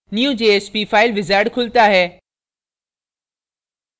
new jsp file wizard खुलता है